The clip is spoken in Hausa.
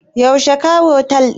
Yaushe ka otel ɗin?